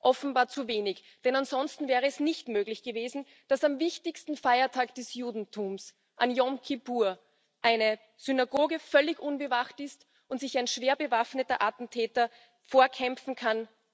Offenbar zu wenig, denn ansonsten wäre es nicht möglich gewesen, dass am wichtigsten Feiertag des Judentums, an Jom Kippur, eine Synagoge völlig unbewacht ist und sich ein schwer bewaffneter Attentäter vorkämpfen kann.